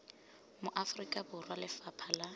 mo aforika borwa lefapha la